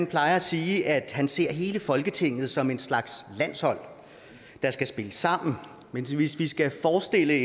plejer at sige at han ser hele folketinget som en slags landshold der skal spille sammen men hvis vi skal forestille at